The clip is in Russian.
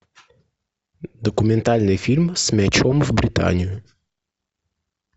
документальный фильм с мячом в британию